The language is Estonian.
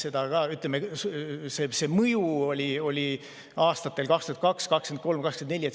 See mõju oli aastatel 2022, 2023 ja 2024.